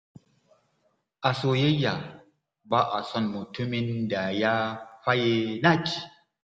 A soyayya, ba a son mutumin da ya faye naci.